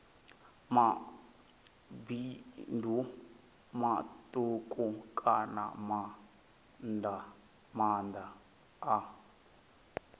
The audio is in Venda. mabindu matuku kana maanda a